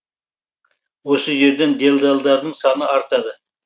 осы жерден делдалдардың саны артады